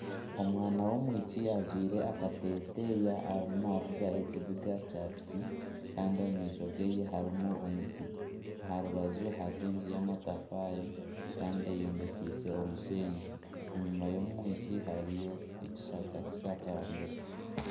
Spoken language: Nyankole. Omwana w'omwishiki ajwaire akateeteeya arimu naavuga ekiziga kya piki kandi omu maisho geye harimu omuti. Aha rubaju hariho enju y'amatafaari kandi eyombekyeise omusheenyi enyima y'omwishiki hariyo ekishaka kishakambire